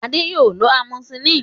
Adé yóò lọ amosilínì